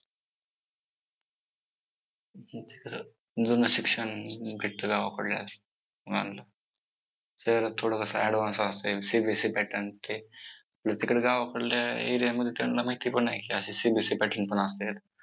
जुनं शिक्षण भेटतं गावाकडल्या शाळेला शहरात थोडं कसं advance असतंय CBSE pattern ते. तिकडं गावाकडल्या area मध्ये त्यांना माहिती पण नाही की असं CBSE pattern पण असतात.